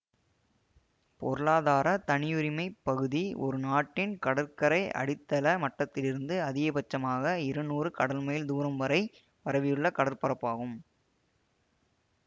பொருளாதார தனியுரிமை பகுதி ஒரு நாட்டின் கடற்கரை அடித்தள மட்டத்திலிருந்து அதிகபட்சமாக இரநூறு கடல் மைல் தூரம் வரை பரவியுள்ள கடற்பரப்பாகும்